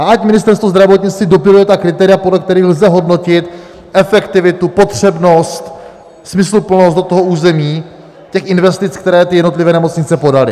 A ať Ministerstvo zdravotnictví dopiluje ta kritéria, podle kterých lze hodnotit efektivitu, potřebnost, smysluplnost do toho území těch investic, které ty jednotlivé nemocnice podaly.